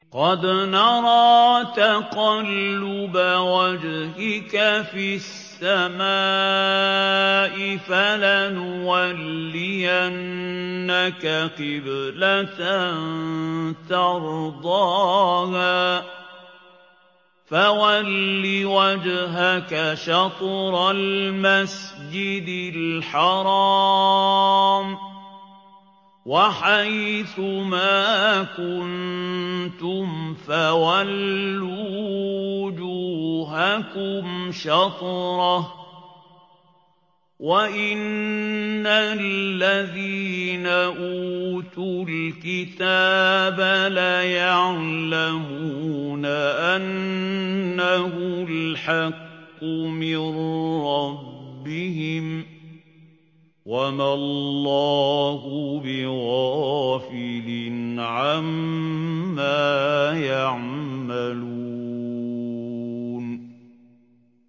قَدْ نَرَىٰ تَقَلُّبَ وَجْهِكَ فِي السَّمَاءِ ۖ فَلَنُوَلِّيَنَّكَ قِبْلَةً تَرْضَاهَا ۚ فَوَلِّ وَجْهَكَ شَطْرَ الْمَسْجِدِ الْحَرَامِ ۚ وَحَيْثُ مَا كُنتُمْ فَوَلُّوا وُجُوهَكُمْ شَطْرَهُ ۗ وَإِنَّ الَّذِينَ أُوتُوا الْكِتَابَ لَيَعْلَمُونَ أَنَّهُ الْحَقُّ مِن رَّبِّهِمْ ۗ وَمَا اللَّهُ بِغَافِلٍ عَمَّا يَعْمَلُونَ